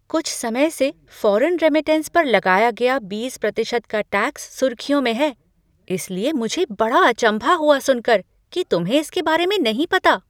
कुछ समय से फॉरेन रेमिटेंस पर लगाया गया बीस प्रतिशत का टैक्स सुर्खियों में है, इसलिए मुझे बड़ा अचम्भा हुआ सुनकर कि तुम्हें इसके बारे में नहीं पता।